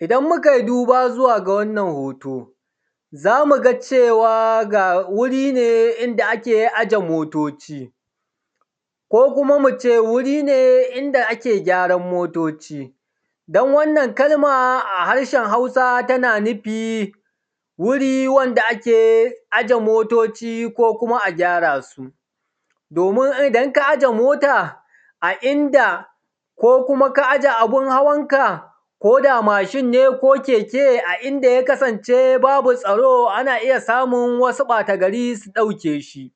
idan mukai duba zuwa ga wannan hoto zamu ga cewa ga wuri ne inda ake aje motoci ko kuma mu ce wuri ne inda ake gyaran motoci dan wannan kalma a harshen hausa tana nufi wuri wanda ake aje motoci ko kuma a gyara su domin idan ka aje mota a inda ko kuma ka aje abun hawan ka ko da mashin ne ne ko keke a inda ya kasance babu tsaro ana iya samun wasu ɓata gari su ɗauke shi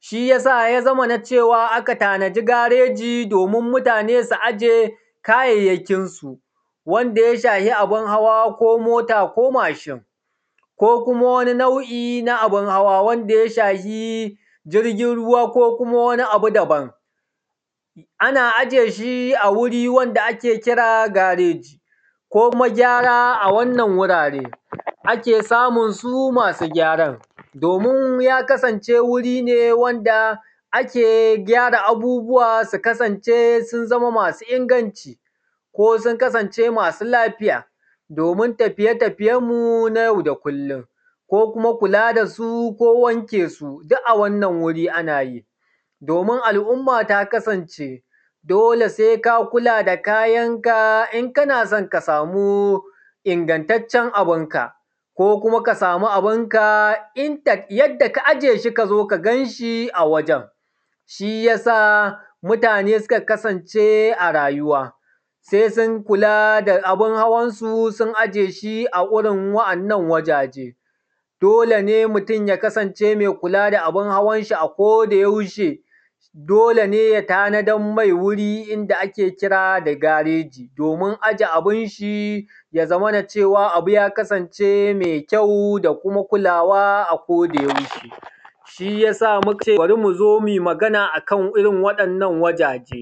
shi yasa ya zamana cewa aka tanadi gareji domin mutane su aje kayayyakin su wanda ya shafi abun hawa ko mota ko mashin ko kuma wani nau’i na abun hawa wanda ya shafi jirgin ruwa ko kuma wani abu daban ana aje shi a wuri wanda ake kira gareji ko kuma gyara a wannan gurare ake samun su masu gyaran domin ya kasance wuri ne wanda ake gyara abubuwa su kasance sun zama masu inganci ko sun kasance masu lafiya domin tafiye tafiyen mu na yau da kullum ko kuma kula dasu ko kuma wanke su duk a wannan guri ana yi domin al’umma ta kasance dole sai ka kula da kayan ka in kana son ka samu ingantaccen abunka ko ko ko aka samu abunka intact yanda ka aje shi ka zo ka gan shi a wajen shi yasa mutane suka kasance a rayuwa sai sun kula da abun hawan su sun aje shi a gurin waɗannan wajaje dole ne mutum ya kasance mai kula da abun hawan shi a koda yaushe dole ne ya tanadar mai guri inda ake kira da gareji domin aje abun shi ya zamana cewa abu ya kasance mai mai kyau da kuma kulawa a koda yaushe shiyasa mukace bari muzo muyi magana akan irin waɗannan wajen